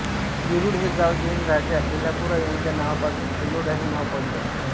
वेरूळ हे गाव जैन राजा एलापुरा यांच्या नावापासून एलोरा हे नाव पडले आहे